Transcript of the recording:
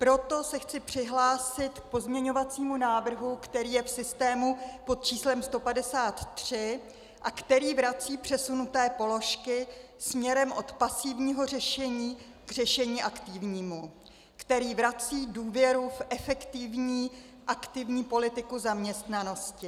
Proto se chci přihlásit k pozměňovacímu návrhu, který je v systému pod číslem 153 a který vrací přesunuté položky směrem od pasivního řešení k řešení aktivnímu, který vrací důvěru v efektivní aktivní politiku zaměstnanosti.